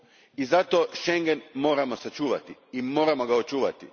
I zato Schengen moramo sačuvati i moramo ga očuvati.